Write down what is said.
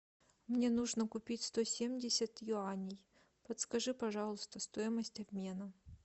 мне нужно купить сто семьдесят юаней подскажи пожалуйста стоимость обмена